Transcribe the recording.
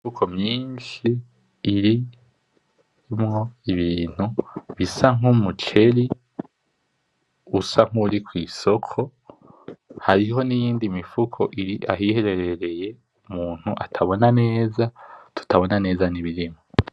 Imifuko myinshi irimwo ibintu bisa nk'umuceri usa nk'uri kwisoko. Hari n'iyindi mifuko iri ahiherereye umuntu atabona neza, tutabona neza n'ibirimwo.